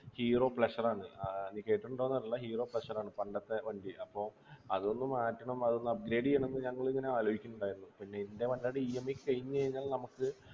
hero pleasure ആണ് ആഹ് നീ കേട്ടിട്ടുണ്ടോന്നറീല hero pleasure ആണ് പണ്ടത്തെ വണ്ടി അപ്പൊ അതൊന്നു മാറ്റണം അതൊന്ന് upgrade ചെയ്യണം ന്ന് ഞങ്ങളിങ്ങനെ ആലോയിക്കുന്നുണ്ടായിരുന്നു പിന്നെ ൻ്റെ വണ്ടിടെ EMI കയിഞ്ഞ് കഴിഞ്ഞ നമ്മക്ക്